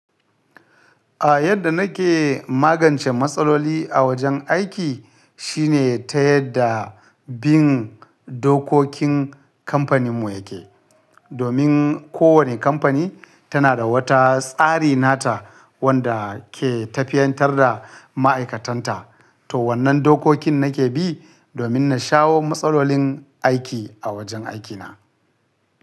A yadda nake magance matsaloli a wajen aiki shine ta yadda bin dokokin kamfaninmu yake. Domin kowane kamfani tana da wata tsari nata wanda ke tafiyantar da ma'aikatanta. To wannan dokokin nake bi domin na shawo matsalolin aiki a wajen aikina.